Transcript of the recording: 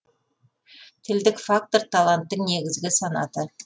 тілдік фактор таланттың негізгі санаты